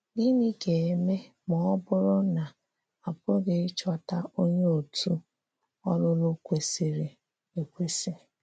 Gịnị ga-eme ma ọ bụrụ na a pụghị ịchọta onye òtù ọlụlụ kwesịrị ekwesị?